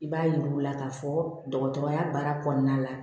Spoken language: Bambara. I b'a yir'u la k'a fɔ dɔgɔtɔrɔya baara kɔnɔna la